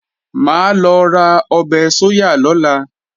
Mà á lọ ra ọbẹ̀ sóyà lọ́la